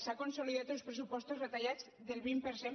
ha consolidat uns pressupostos retallats del vint per cent